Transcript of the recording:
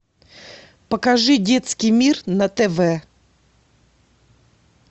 покажи детский мир на тв